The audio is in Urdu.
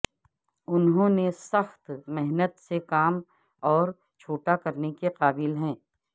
انہوں نے سخت محنت سے کام اور چھوٹا کرنے کے قابل ہیں